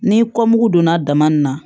Ni kɔn mugu donna dama nin na